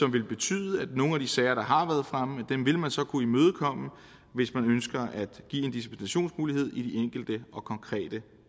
vil betyde at nogle af de sager der har været fremme vil man så kunne imødekomme hvis man ønsker at give en dispensationsmulighed i de enkelte konkrete